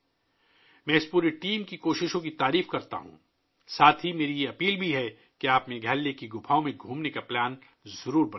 میں اس پوری ٹیم کی کوششوں کی ستائش کرتا ہوں، ساتھ ہی میں آپ سے گزارش کرتا ہوں کہ میگھالیہ کے غاروں کو دیکھنے کا منصوبہ بنائیں